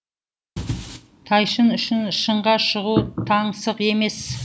тайшын үшін шыңға шығу таңсық емес